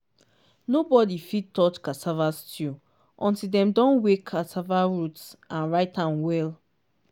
nobody fit touch festival stew until dem don weigh cassava root and write am well.